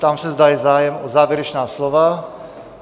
Ptám se, zda je zájem o závěrečná slova?